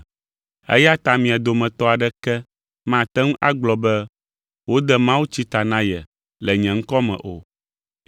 Eya ta mia dometɔ aɖeke mate ŋu agblɔ be wode mawutsi ta na ye le nye ŋkɔ me o.